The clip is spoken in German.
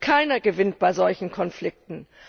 Keiner gewinnt bei solchen Konflikten.